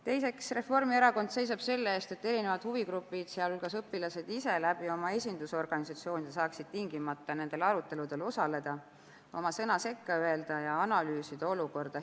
Teiseks, Reformierakond seisab selle eest, et erinevad huvigrupid, sealhulgas õpilased ise – oma esindusorganisatsioonide kaudu – saaksid tingimata nendel aruteludel osaleda, oma sõna sekka öelda ja analüüsida olukorda.